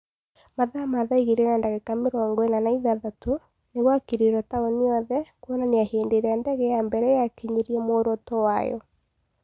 mathaa ma thaa igĩrĩ na ndagĩka mĩrongo ĩna na ithathatũ, nĩgwakirirwo taũni yothe, kuonania hĩndĩ ĩrĩa ndege ya mbere yakinyirie mworoto wayo.